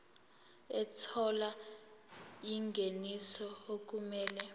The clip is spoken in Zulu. ethola ingeniso okumele